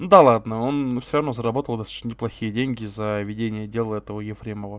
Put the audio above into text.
да ладно он всё равно заработал достаточно неплохие деньги за ведение дела этого ефремова